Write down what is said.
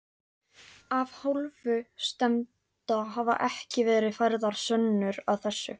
Af hálfu stefnda hafa ekki verið færðar sönnur að þessu.